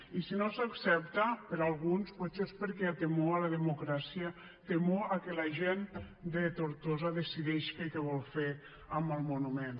i si no s’accepta per alguns potser és perquè hi ha temor a la democràcia temor que la gent de tortosa decideixi què vol fer amb el monument